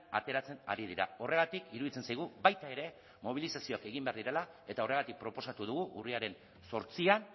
ateratzen ari dira horregatik iruditzen zaigu baita ere mobilizazioak egin behar direla eta horregatik proposatu dugu urriaren zortzian